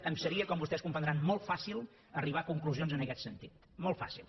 em seria com vostès poden comprendre molt fàcil arribar a conclusions en aquest sentit molt fàcil